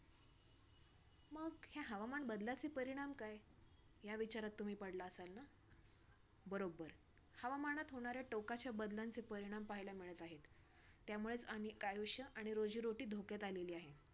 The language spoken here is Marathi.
ह्या हवामान बदलाचे परिणाम काय? या विचारात तुम्ही पडला असाल ना? बरोबर! हवामनात होणाऱ्या टोकाच्या बदलाचे परिणाम पाहायला मिळत आहेत. त्यामुळेच अनेक आयुष्य आणि रोजी-रोटी धोक्यात आलेली आहे.